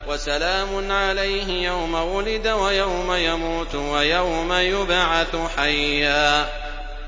وَسَلَامٌ عَلَيْهِ يَوْمَ وُلِدَ وَيَوْمَ يَمُوتُ وَيَوْمَ يُبْعَثُ حَيًّا